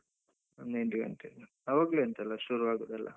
ಒಂದು ಎಂಟು ಗಂಟೆ ನಂತ್ರ ಆವಾಗ್ಲೇ ಅಂತಲ್ಲ ಶುರು ಆಗುದು ಎಲ್ಲಾ.